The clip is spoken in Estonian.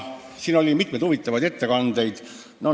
Siin oli mitmeid huvitavaid ettekandeid.